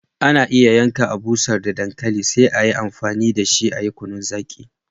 Ana iya yanka, a'busher da dankali sai a yi amfani da shi a'yi kunun zaki.